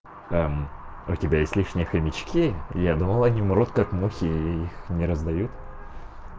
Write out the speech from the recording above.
там про тебя есть лишние хомячки я думал они мрут как мухи и их не раздают